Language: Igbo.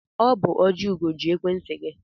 Ọ bụ Ojiugo ji ekwentị gị.